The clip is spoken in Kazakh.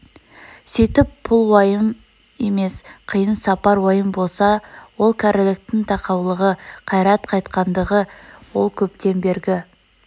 сүйтіп пұл уайым емес қиын сапар уайым болса ол кәріліктің тақаулығы қайрат қайтқандығы ол көптен бергі